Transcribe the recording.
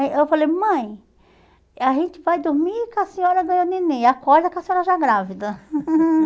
Aí eu falei, mãe, a gente vai dormir que a senhora ganhou neném e acorda com a senhora já grávida.